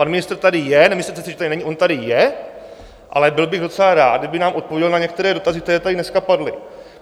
Pan ministr tady je - nemyslete si, že tady není, on tady je - ale byl bych docela rád, kdyby nám odpověděl na některé dotazy, které tady dneska padly.